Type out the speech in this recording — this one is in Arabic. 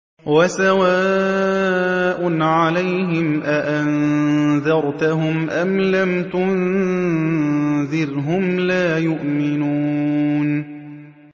وَسَوَاءٌ عَلَيْهِمْ أَأَنذَرْتَهُمْ أَمْ لَمْ تُنذِرْهُمْ لَا يُؤْمِنُونَ